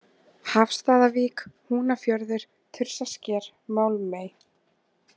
Hafsstaðavík, Húnafjörður, Þursasker, Málmey